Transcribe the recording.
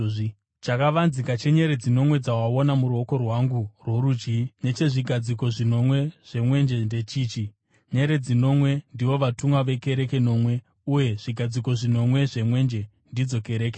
Chakavanzika chenyeredzi nomwe dzawaona muruoko rwangu rworudyi nechezvigadziko zvinomwe zvemwenje ndechichi: Nyeredzi nomwe ndivo vatumwa vekereke nomwe, uye zvigadziko zvinomwe zvemwenje ndidzo kereke nomwe.